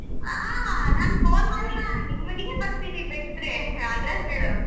ಹಾ ಸರಿ ಹಾ ನಾನ್ phone ಮಾಡಲ್ಲ ನಿಮ್ಮ ಮನೆಗೆ ಬರ್ತೀನಿ ಬೇಕಿದರೆ address ಹೇಳು.